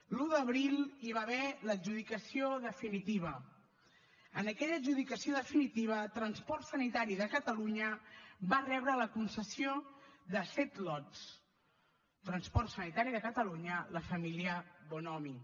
l’un d’abril hi va haver l’adjudicació definitiva en aquella adjudicació definitiva transport sanitari de catalunya va rebre la concessió de set lots transport sanitari de catalunya la família bonomi